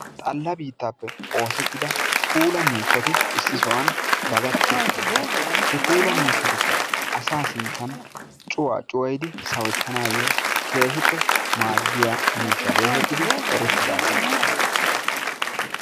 Xalla biittaappe oosettida puulaa miishshaati issi sohuwan dagatti uttiddosona. he puulaa miishshaatikka asaa sinttan cuwa cuwayidi sawuttanayo keehippe maaddiya miishshaa getetidi erettidaageta.